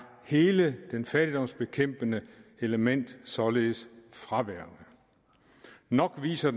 hele det fattigdomsbekæmpende element således fraværende nok viser